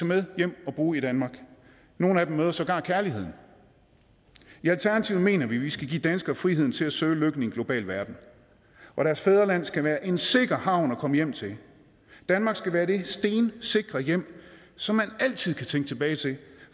med hjem og bruge i danmark og nogle af dem møder sågar kærligheden i alternativet mener vi at vi skal give danskere friheden til at søge lykken i en global verden og deres fødeland skal være en sikker havn at komme hjem til danmark skal være det stensikre hjem som man altid kan vende tilbage til